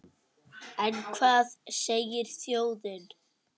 En hvað segir þjóðin?